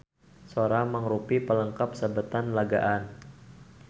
Sora mangrupi palengkap sabetan lagaan.